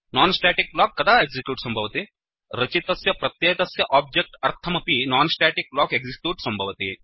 non static block कदा execute सम्भवति160 रचितस्य प्रत्येकस्य ओब्जेक्ट् अर्थमपि नोन् स्टेटिक्ब्लोक् एक्सिक्यूट् सम्भवति